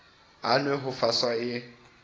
a nwe ho faswa e